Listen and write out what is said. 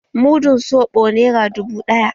Mudun soɓo nera dubu ɗaya.